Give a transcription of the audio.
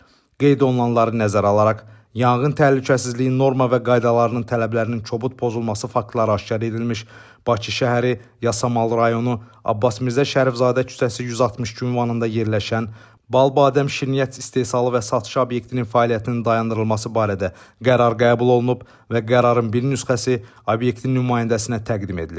Qeyd olunanları nəzərə alaraq, yanğın təhlükəsizliyi norma və qaydalarının tələblərinin kobud pozulması faktları aşkar edilmiş Bakı şəhəri, Yasamal rayonu, Abbas Mirzə Şərifzadə küçəsi 162 ünvanında yerləşən Bal Badəm Şirniyyat istehsalı və satışı obyektinin fəaliyyətinin dayandırılması barədə qərar qəbul olunub və qərarın bir nüsxəsi obyektin nümayəndəsinə təqdim edilib.